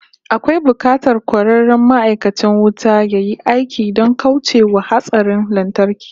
Akwai bukatar kwararren ma'aikacin wuta yayi aiki don kauce wa hatsarin lantarki